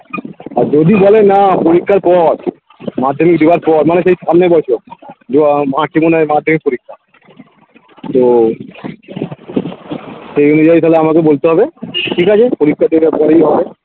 আর যদি বলে না পরীক্ষার পর মাধ্যমিক দেওয়ার পর মানে সেই সামনের বছর দিয়ে ও march এ মনে হয় মাধ্যমিক পরীক্ষা তো সেই অনুযায়ী তাহলে আমাকে বলতে হবে ঠিক আছে পরীক্ষার জন্য তৈরী হও